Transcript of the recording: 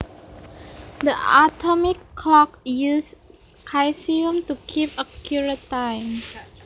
The atomic clock uses caesium to keep accurate time